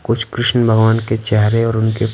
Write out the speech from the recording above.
कुछ कृष्ण भगवान के चेहरे और उनके--